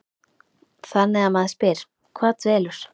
Þannig að maður spyr, hvað dvelur?